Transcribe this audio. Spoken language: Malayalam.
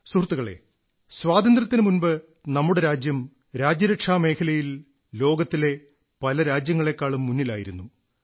സുഹൃത്തുക്കളേ സ്വാതന്ത്ര്യത്തിനു മുമ്പ് നമ്മുടെ രാജ്യം രാജ്യരക്ഷാ മേഖലയിൽ ലോകത്തിലെ പല രാജ്യങ്ങളെക്കാളും മുന്നിലായിരുന്നു